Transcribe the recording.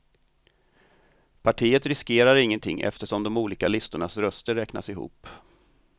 Partiet riskerar ingenting eftersom de olika listornas röster räknas ihop.